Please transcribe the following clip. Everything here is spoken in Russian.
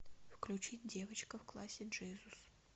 включить девочка в классе джизус